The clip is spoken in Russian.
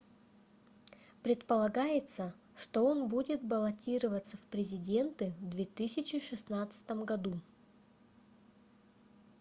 предполагается что он будет баллотироваться в президенты в 2016 году